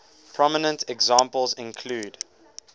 prominent examples include